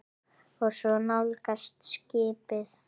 Og svo nálgast skipið.